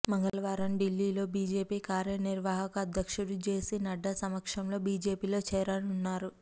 మంగళవారం ఢిల్లీలో బీజేపీ కార్యనిర్వాహక అధ్యక్షుడు జేపీనడ్డా సమక్షంలో బీజేపీలో చేరనున్నారు